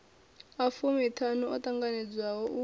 a fumiṱhanu o ṱanganedzwaho u